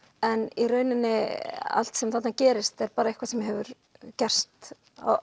en í rauninni allt sem þarna gerist er eitthvað sem hefur gerst